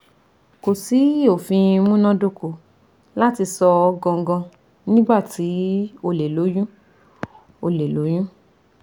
Ko si ofin munadoko lati sọ gangan nigba ti o le loyun o le loyun